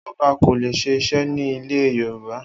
Oba ko le se ise ni ile yoruba